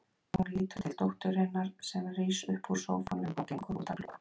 Hún lítur til dótturinnar sem rís upp úr sófanum og gengur út að glugga.